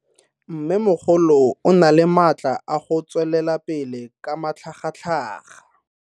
Mmemogolo o na le matla a go tswelela pele ka matlhagatlhaga.